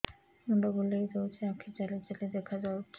ମୁଣ୍ଡ ବୁଲେଇ ଦଉଚି ଆଖି ଜାଲି ଜାଲି ଦେଖା ଯାଉଚି